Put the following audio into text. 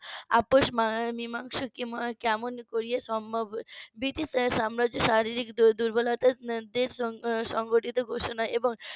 আপস বা মীমাংসা কেমন করিয়া সম্ভব ব্রিটিশ সাম্রাজ্য শারীরিক দুর্বলতা যে সংগঠিত ঘোষণা এবং